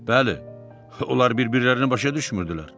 Bəli, onlar bir-birlərini başa düşmürdülər.